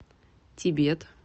тибет